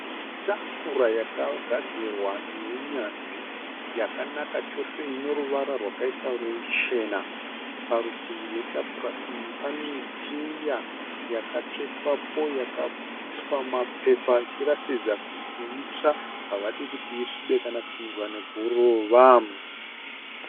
Tafura yakagadzirwa nounyanzvi yakanaka chose, inoruvara rwakaita ruchena. Parutivi rwetafura iyi panecheya yakatsvetwapo yakaiswa mumapepa ichiratidza kuti itsva havadi kuti isvibe kana kupindwa neguruva.